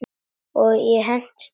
Og ég hentist af stað.